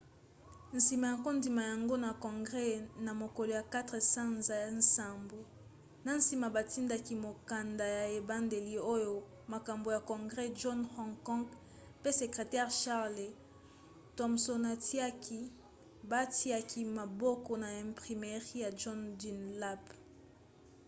nsima ya kondima yango na congres na mokolo ya 4 sanza ya nsambo na nsima batindaki mokanda ya ebandeli oyo mokambi ya congres john hancock pe sekretere charles thomsonatiaki batiaki maboko na imprimerie ya john dunlap